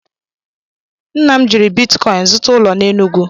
Nna m jiri bitkọịn zụta ala na Enụgwụ.